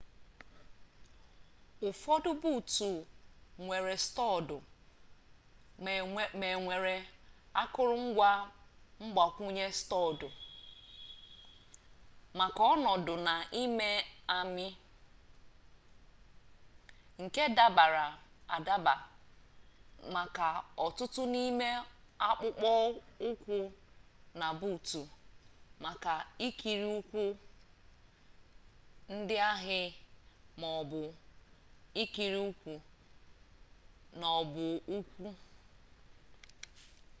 ụfọdụ buutu nwere stọọdụ ma e nwere akụrụngwa mgbakwunye stọọdụ maka ọnọdụ na-amị amị nke dabara adaba maka ọtụtụ n'ime akpụkpọ ụkwụ na buutu maka ikiri ụkwụ ndị ahị ma ọ bụ ikiri ụkwụ na ọbọụkwụ